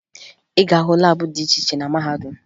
Ị ga-ahụ laabụ dị iche iche na mahadum